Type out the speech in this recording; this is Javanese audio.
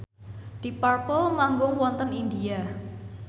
deep purple manggung wonten India